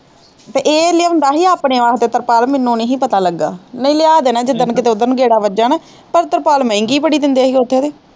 ਤੇ ਇਹ ਲਿਆਂਦਾ ਹੀ ਆਪਣੇ ਵਾਸਤੇ ਤਰਪਾਲ ਮੈਨੂੰ ਨਹੀਂ ਹੀ ਪਤਾ ਲੱਗਾ ਨਹੀਂ ਲਿਆ ਦੇਣਾ ਜਿਸ ਦਿਨ ਕਿਤੇ ਉੱਧਰ ਨੂੰ ਗੇੜਾ ਵੱਜਾ ਨਾ ਪਰ ਤਰਪਾਲ ਮਹਿੰਗੀ ਬੜੀ ਦਿੰਦੇ ਹੀ ਉੱਥੇ ਤੇ।